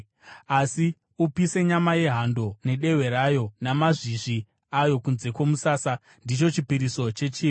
Asi upise nyama yehando nedehwe rayo namazvizvi ayo kunze kwomusasa. Ndicho chipiriso chechivi.